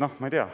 Noh, ma ei tea,